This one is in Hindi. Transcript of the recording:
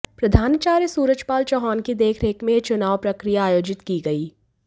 प्रधानाचार्या सूरजपाल चौहान की देखरेख में यह चुनाव प्रक्रिया आयोजित की गई